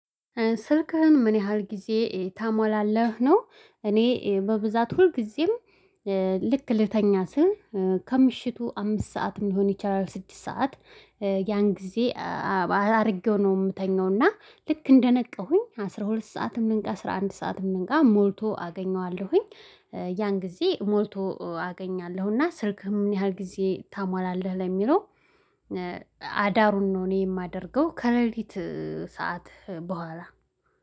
ስልክህን ምን ያህል ጊዜ ትሞላለህ? ነው እኔ በብዛት ሁልጊዜም ልክ ልተኛ ስል ከምሽቱ አምስት ሰዓት ሊሆን ይቻላል። ስድስት ሰዓት ያን ጊዜ አድርጌው ነው የምተኛው። እና ልክ እንደነቃሁኝ አስራ ሁለት ሰዓትም ልንቃ አስራ አንድ ሰዓትም ልንቃ ሞልቶ አገኘዋለሁኝ። ያን ጊዜ ሞልቶ አገኛለሁና ስልክህ ምን ያህል ጊዜ ታሟላለህ? ለሚለው አዳሩን ነው እኔ የማደርገው። ከሌሊት ሰዓት በኋላ